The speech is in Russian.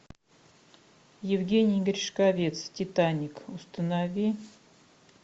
евгений гришковец титаник установи